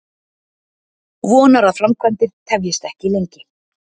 Vonar að framkvæmdir tefjist ekki lengi